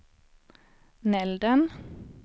Nälden